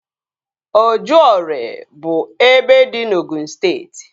Ojụore bụ ebe dị na Ogụn steeti